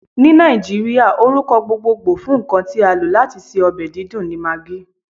Ni Naijiria, orukọ gbogbogbo fun nkan ti a lo lati ṣe ọbẹ didùn ni Maggi.